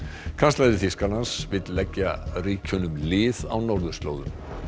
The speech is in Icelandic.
kanslari Þýskalands vill leggja ríkjunum lið á norðurslóðum